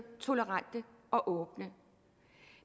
tolerante og åbne